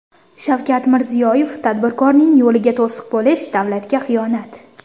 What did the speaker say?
Shavkat Mirziyoyev: Tadbirkorning yo‘liga to‘siq bo‘lish davlatga xiyonat!.